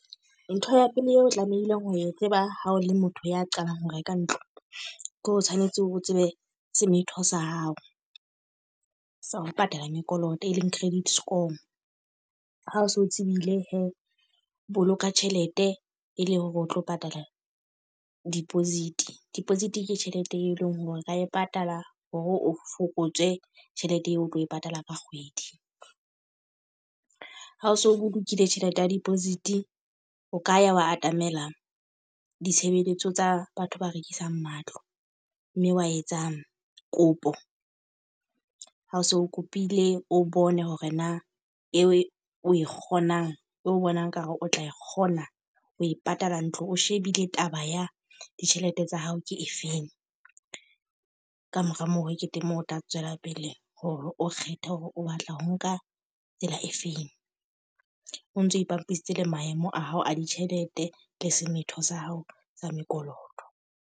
Ntho ya pele eo tlamehileng ho e tseba ha o le motho ya qalang ho reka ntlo. Ke o tshwanetse o tsebe semetho sa hao, sa ho patala mekoloto e leng credit score. Ha o so tsebile he, boloka tjhelete e le hore o tlo patala deposit. Deposit ke tjhelete e leng hore ra e patala hore o fokotse tjhelete eo o tlo e patala ka kgwedi. Ha o so bolokile tjhelete ya deposit. O ka ya wa atamela ditshebeletso tsa batho ba rekisang matlo mme wa etsang kopo. Ha o so o kopile, o bone hore na e o e kgonang o bonang ekare o tla kgona ho e patala ntlo. O shebile taba ya ditjhelete tsa hao ke efeng. Ka mora moo ke teng moo o tla tswela pele hore o kgethe hore o batla ho nka tsela e feng. O ntso ipapisitse le maemo a hao a ditjhelete le semetho sa hao sa mekoloto.